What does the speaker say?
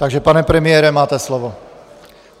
Takže pane premiére, máte slovo.